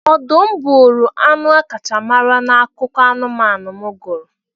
Ọdụm bụụrụ anụ akacha mara na akụkọ anụmanụ m gụrụ.